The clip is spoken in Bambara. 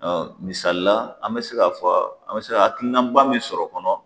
misali la an bɛ se ka fɔ an bɛ se ka hakilinaba min sɔrɔ o kɔnɔ